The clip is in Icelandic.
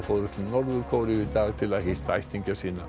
fóru til Norður Kóreu í dag til að hitta ættingja sína